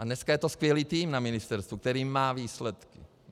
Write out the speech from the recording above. A dneska je to skvělý tým na ministerstvu, který má výsledky.